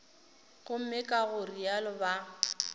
gomme ka go realo ba